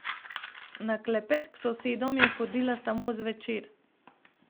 Na klepet k sosedom je hodila samo zvečer.